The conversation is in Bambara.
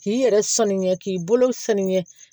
K'i yɛrɛ sanuya k'i bolo sanuɲɛ